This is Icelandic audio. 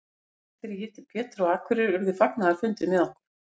Seinast þegar ég hitti Pétur á Akureyri urðu fagnaðarfundir með okkur.